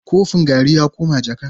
Kofin garri ya koma jaka.